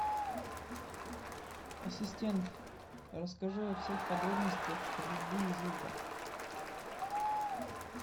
ассистент расскажи о всех подробностях стрельбы из лука